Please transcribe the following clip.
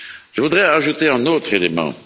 Je voudrais ajouter un autre élément.